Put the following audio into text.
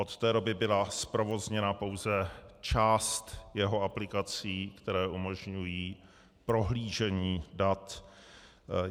Od té doby byla zprovozněna pouze část jeho aplikací, které umožňují prohlížení dat.